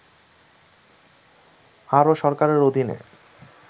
আরও সরকারের অধীনে